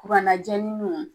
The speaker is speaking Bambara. Bana jɛ